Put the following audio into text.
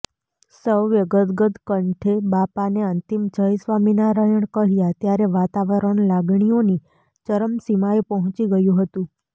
સૌએ ગદગદ કંઠે બાપાને અંતિમ જય સ્વામિનારાયણ કહ્યા ત્યારે વાતાવરણ લાગણીઓની ચરમસીમાએ પહોંચી ગયું હતુ